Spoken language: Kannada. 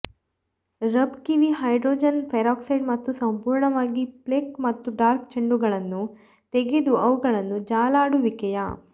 ರಬ್ ಕಿವಿ ಹೈಡ್ರೋಜನ್ ಪೆರಾಕ್ಸೈಡ್ ಮತ್ತು ಸಂಪೂರ್ಣವಾಗಿ ಪ್ಲೇಕ್ ಮತ್ತು ಡಾರ್ಕ್ ಚೆಂಡುಗಳನ್ನು ತೆಗೆದು ಅವುಗಳನ್ನು ಜಾಲಾಡುವಿಕೆಯ